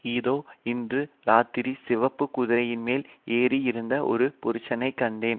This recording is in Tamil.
இதோ இன்று ராத்திரி சிவப்பு குதிரையின்மேல் ஏறியிருந்த ஒரு புருஷனை கண்டேன்